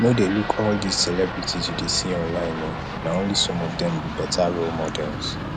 no dey look all dis celebrities you dey see online oo na only some of dem be better role models